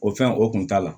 O fɛn o kun t'a la